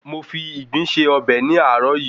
Mo fi ìgbín se ọbẹ̀ ní àárọ̀ yìí